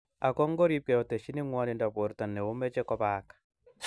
Ako ngobirkei otesyini ngwonindo borto neomoche kobaak